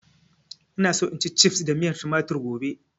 Ina so in ci cifs da miyar tumatir gobe